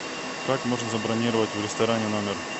как можно забронировать в ресторане номер